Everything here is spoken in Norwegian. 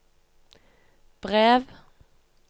brev